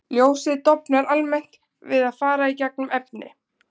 Ljósið dofnar almennt við að fara í gegnum efni.